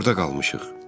Biz burda qalmışıq.